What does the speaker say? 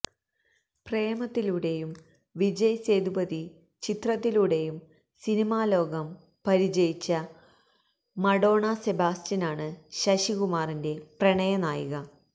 പ്രേമത്തിലൂടെയും വിജയ് സേതുപതി ചിത്രത്തിലൂടെയും സിനിമാലോകം പരിചയിച്ച മഡോണ സെബാസ്റ്റ്യനാണ് ശശികുമാറിന്റെ പ്രണയ നായിക